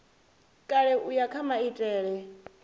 kale u ya kha maitele